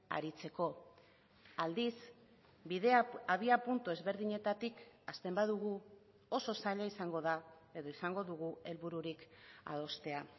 aritzeko aldiz bidea abiapuntu ezberdinetatik hasten badugu oso zaila izango da edo izango dugu helbururik adostea